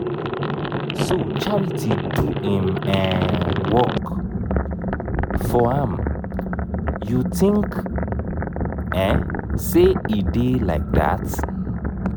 so charity do im um work for am you think um say e dey like dat